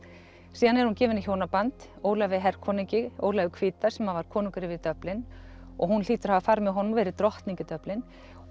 síðan er hún gefin í hjónaband Ólafi Ólafi hvíta sem var konungur yfir Dublin og hún hlýtur að hafa farið með honum og verið drottning í Dublin og